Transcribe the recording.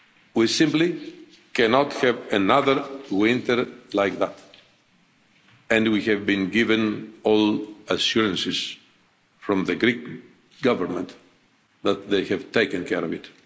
We simply cannot have another winter like that and we have been given all the assurances from the Greek government that they have taken care of it.